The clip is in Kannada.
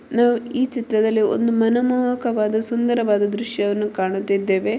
ನಾವು ಈ ಚಿತ್ರದಲ್ಲಿ ಒಂದು ಮನೋಮೋಹಕ ಸುಂದರವಾದ ದೃಶ್ಯವನ್ನು ಕಾಣುತ್ತಿದ್ದೇವೇ .